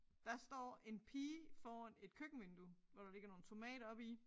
Der står en pige foran et køkkenvindue hvor der ligger nogle tomater oppe i